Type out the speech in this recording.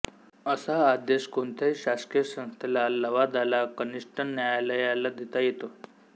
असा आदेश कोणत्याही शासकीय संस्थेला लवादाला कानिष्ठ न्यायालयाला देता येतो